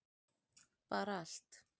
bara allt